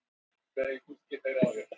er til lækning við fuglaflensu